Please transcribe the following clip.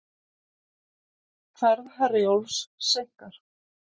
Ferð Herjólfs seinkar